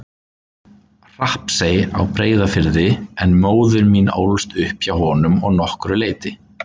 Hrappsey á Breiðafirði en móðir mín ólst upp hjá honum að nokkru leyti.